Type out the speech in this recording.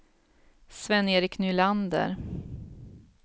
Sven-Erik Nylander